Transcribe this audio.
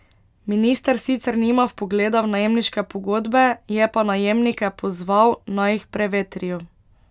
Minister sicer nima vpogleda v najemniške pogodbe, je pa najemnike pozval naj jih prevetrijo.